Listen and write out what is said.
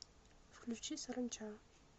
включи саранча